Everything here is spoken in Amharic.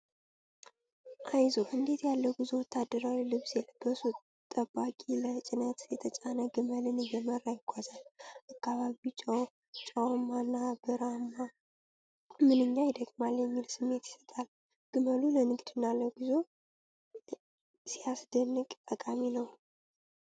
"አይዞህ! እንዴት ያለ ጉዞ!" ወታደራዊ ልብስ የለበሰ ጠባቂ፣ ለጭነት የተጫነ ግመልን እየመራ ይጓዛል ። አካባቢው ጨውማ እና በረሀማ "ምንኛ ይደክማል!" የሚል ስሜት ይሰጣል ። ግመሉ ለንግድና ለጉዞ "ሲያስደንቅ!" ጠቃሚ ነው።